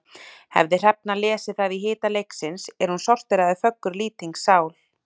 Hefði Hrefna lesið það í hita leiksins er hún sorteraði föggur Lýtings sál.